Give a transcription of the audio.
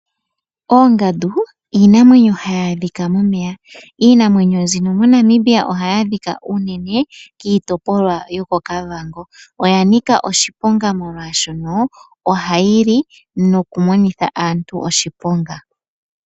Oongandu iinamwenyo hayi adhika momeya. Iinamwenyo mbino moNamibia ohayi adhika unene kiitopolwa yokoKavango, oyanika oshiponga molwashono ohayi li nokumonitha aantu oshiponga.